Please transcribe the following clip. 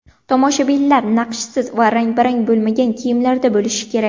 Tomoshabinlar naqshsiz va rang-barang bo‘lmagan kiyimlarda bo‘lishi kerak.